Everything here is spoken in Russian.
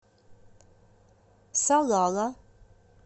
салала